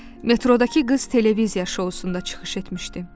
Metrodakı qız televiziya şousunda çıxış etmişdi.